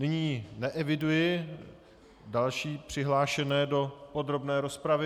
Nyní neeviduji další přihlášené do podrobné rozpravy.